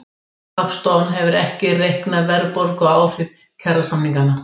Hagstofan hefur ekki reiknað verðbólguáhrif kjarasamninganna